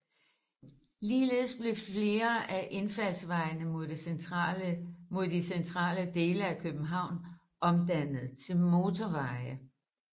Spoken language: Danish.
Ligeledes blev flere af indfaldsvejene mod de centrale dele af København omdannet til motorveje